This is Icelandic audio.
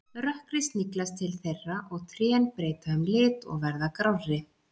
Rökkrið sniglast til þeirra og trén breyta um lit og verða grárri.